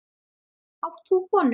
Átt þú konu?